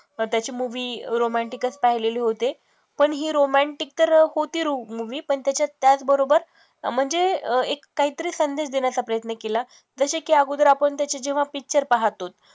त्याचे movie romantic चं पाहिलेले होते, पण ही romantic तर होती movie पण त्याच्यात त्याचबरोबर म्हणजे एक काहीतरी संदेश देण्याचा प्रयत्न केला जसे की अगोदर आपण त्याचे जेव्हा picture पहातोच